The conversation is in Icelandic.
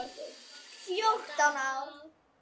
Fjórtán ár!